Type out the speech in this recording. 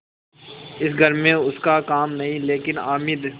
इस घर में उसका काम नहीं लेकिन हामिद